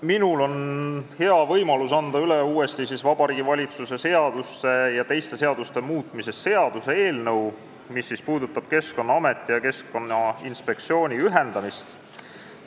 Minul on hea võimalus anda uuesti üle Vabariigi Valitsuse seaduse ja teiste seaduste muutmise seaduse eelnõu, mis puudutab Keskkonnaameti ja Keskkonnainspektsiooni ühendamist.